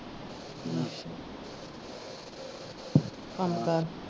ਕੰਮ ਕਾਰ।